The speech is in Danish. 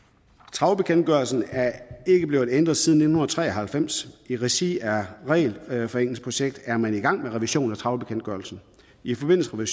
trawlbekendtgørelsen er ikke blevet ændret siden nitten tre og halvfems i regi af regelforenklingsprojektet er man i gang med en revision af trawlbekendtgørelsen i forbindelse med